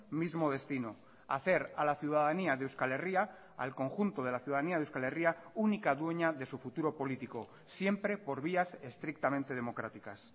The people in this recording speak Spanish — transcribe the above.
mismo destino hacer a la ciudadanía de euskal herria al conjunto de la ciudadanía de euskal herria única dueña de su futuro político siempre por vías estrictamente democráticas